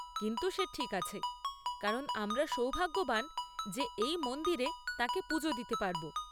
কিন্তু সে ঠিক আছে, কারণ আমরা সৌভাগ্যবান যে এই মন্দিরে তাঁকে পুজো দিতে পারব।